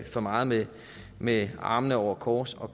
for meget med med armene over kors og